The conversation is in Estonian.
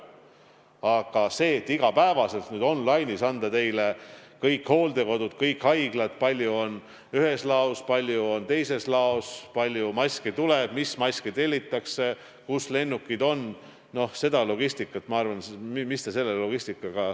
Aga et iga päev on on-line'is üleval kõik hooldekodud, kõik haiglad, kui palju on ühes laos, palju on teises laos, palju maske tuleb, mis maske tellitakse, kus lennukid on, no selle logistikaga ei ole teil ilmselt midagi teha.